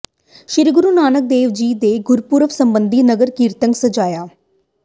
ਸ੍ਰੀ ਗੁਰੂ ਨਾਨਕ ਦੇਵ ਜੀ ਦੇ ਗੁਰਪੁਰਬ ਸਬੰਧੀ ਨਗਰ ਕੀਰਤਨ ਸਜਾਇਆ